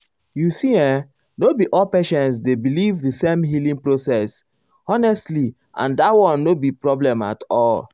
you see[um]no be all patients dey believe the same healing process honestly and dat one no be problem at all.